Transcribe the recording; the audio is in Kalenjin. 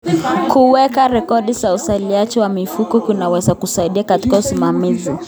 Kuweka rekodi za uzalishaji wa mifugo kunaweza kusaidia katika usimamizi.